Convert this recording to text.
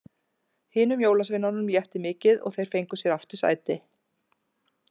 Hinum jólasveinunum létti mikið og þeir fengu sér aftur sæti.